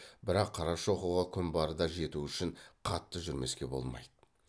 бірақ қарашоқыға күн барда жету үшін қатты жүрмеске болмайды